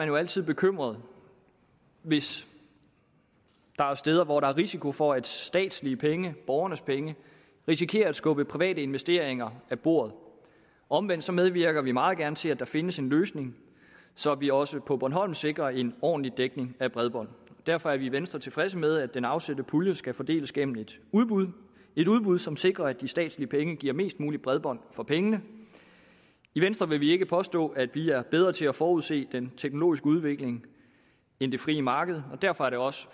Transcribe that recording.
jo altid bekymret hvis der er steder hvor der er risiko for at statslige penge borgernes penge risikerer at skubbe private investeringer af bordet omvendt så medvirker vi meget gerne til at der findes en løsning så vi også på bornholm sikrer en ordentlig dækning af bredbånd derfor er vi i venstre tilfredse med at den afsatte pulje skal fordeles gennem et udbud et udbud som sikrer at de statslige penge giver mest mulig bredbånd for pengene i venstre vil vi ikke påstå at vi er bedre til at forudse den teknologiske udvikling end det frie marked og derfor er det også